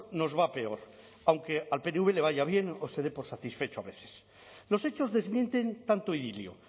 nos va a peor aunque al pnv le vaya bien o se dé por satisfecho a veces los hechos desmienten tanto idilio